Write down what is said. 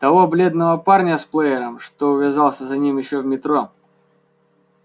того бледного парня с плеером что увязался за ним ещё в метро